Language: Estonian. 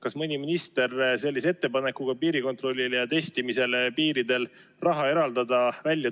Kas mõni minister tuli välja ettepanekuga piirikontrollile ja piiridel testimisele raha eraldada?